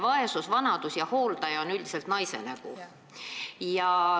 Vaesus, vanadus ja hooldaja on üldiselt naise nägu.